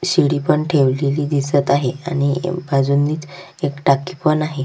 शिडी पण ठेवलेली दिसत आहे आणि बाजूनी एक टाकी पण आहे.